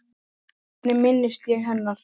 Hvernig minnist ég hennar?